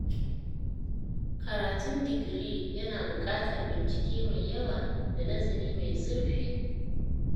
Karatun digiri yana buƙatar bincike mai yawa da nazari mai zurfi.